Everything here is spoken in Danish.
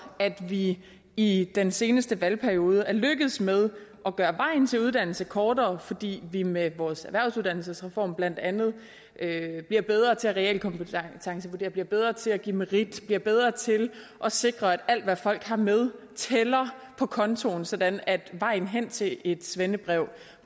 at vi i den seneste valgperiode er lykkedes med at gøre vejen til uddannelse kortere fordi vi med vores erhvervsuddannelsesreform blandt andet bliver bedre til at realkompetencevurdere bliver bedre til at give merit bliver bedre til at sikre at alt hvad folk har med tæller på kontoen sådan at vejen hen til et svendebrev